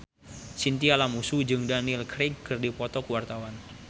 Chintya Lamusu jeung Daniel Craig keur dipoto ku wartawan